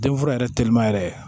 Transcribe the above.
Den fura yɛrɛ telima yɛrɛ